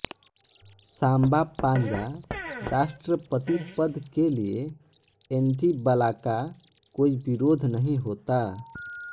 सांबापांजा राष्ट्रपति पद के लिए एंटीबलाका कोई विरोध नहीं होता